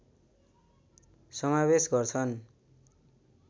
समावेश गर्छन्